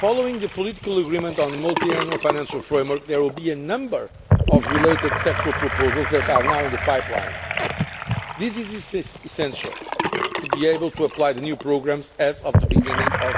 Following the political agreement on the multiannual financial framework, there will be a number of related sectoral proposals which are now in the pipeline. This is essential to be able to apply the new programmes as of the beginning of